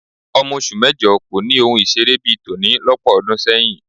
Ọmọ oṣù mẹ́jọ kò ni ohun ìṣeré bí i tòní lọ́pọ̀ ọdún sẹ́yìn